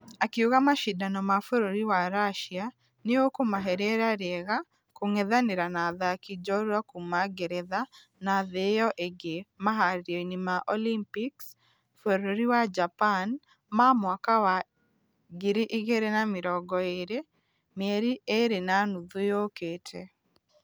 Akĩuga mashidano ma bũrũri wa russia nĩ ũkũmahe rĩera rĩega kũngethanĩra na athaki jorua kuuma ngeretha na thĩ ĩyo ĩngĩ maharereinio ma olympics bũrũri wa japan ma mwaka wa ngiri igĩrĩ na mĩrongo ĩrĩ mĩeri igĩrĩ na nuthu yũkĩte.